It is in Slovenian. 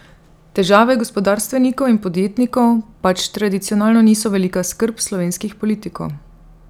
Težave gospodarstvenikov in podjetnikov pač tradicionalno niso velika skrb slovenskih politikov.